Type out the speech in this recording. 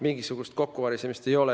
Mingisugust kokkuvarisemist ei ole.